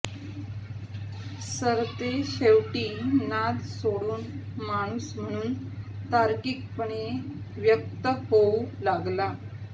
सरतेशेवटी नाद सोडून माणूस म्हणून तार्किकपणे व्यक्त होऊ लागला